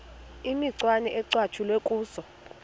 imicwana ecatshulwe kuzo